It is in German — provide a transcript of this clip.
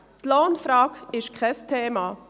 Die Lohnfrage ist kein Thema.